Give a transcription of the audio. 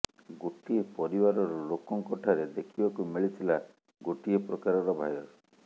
ଗୋଟିଏ ପରିବାରର ଲୋକଙ୍କ ଠାରେ ଦେଖିବାକୁ ମିଳିଥିଲା ଗୋଟିଏ ପ୍ରକାରର ଭାଇରସ୍